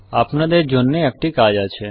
আপনাদের জন্যে একটি কাজ আছে